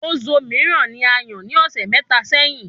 Ozo míràn ní ayàn ní ọsẹ mẹta sẹ́yín